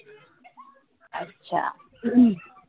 अच्छा